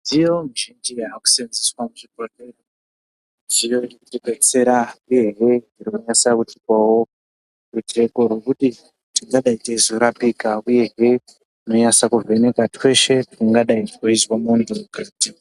Midziyo mizhinji yakusenzeswa muzvibhehleya midziyo inotidetsera uyehe irikunyatsa kutipawo rujeko rwekuti tingadai teizonase kurapika uye he inonase kuvheneka tweshe tungadai tweizwe munhu mukati.